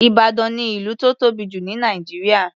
Ìbàdàn ni ìlú tó tóbi jù ní Nàìjíríà.